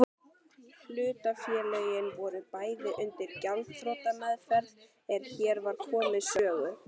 Hlutafélögin voru bæði undir gjaldþrotameðferð er hér var komið sögu.